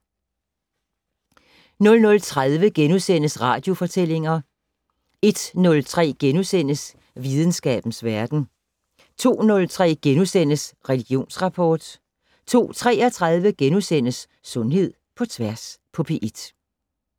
00:30: Radiofortællinger * 01:03: Videnskabens Verden * 02:03: Religionsrapport * 02:33: Sundhed på P1 *